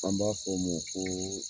An b'a fɔ ma ko